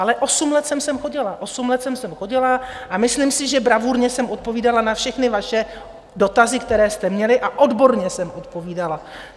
Ale osm let jsem sem chodila, osm let jsem sem chodila a myslím si, že bravurně jsem odpovídala na všechny vaše dotazy, které jste měli, a odborně jsem odpovídala.